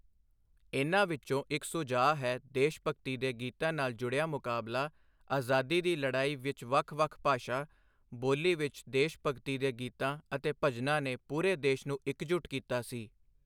ਇਨ੍ਹਾਂ ਵਿੱਚੋਂ ਇੱਕ ਸੁਝਾਅ ਹੈ ਦੇਸ਼ ਭਗਤੀ ਦੇ ਗੀਤਾਂ ਨਾਲ ਜੁੜਿਆ ਮੁਕਾਬਲਾ, ਆਜ਼ਾਦੀ ਦੀ ਲੜਾਈ ਵਿੱਚ ਵੱਖ ਵੱਖ ਭਾਸ਼ਾ, ਬੋਲੀ ਵਿੱਚ ਦੇਸ਼ ਭਗਤੀ ਦੇ ਗੀਤਾਂ ਅਤੇ ਭਜਨਾਂ ਨੇ ਪੂਰੇ ਦੇਸ਼ ਨੂੰ ਇਕਜੁੱਟ ਕੀਤਾ ਸੀ।